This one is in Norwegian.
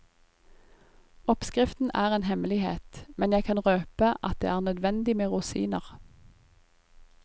Oppskriften er en hemmelighet, men jeg kan røpe at det er nødvendig med rosiner.